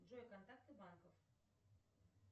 джой контакты банков